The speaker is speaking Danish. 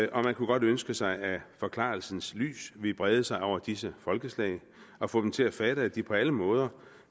og man kunne godt ønske sig at forklarelsens lys ville brede sig over disse folkeslag og få dem til at fatte at de på alle måder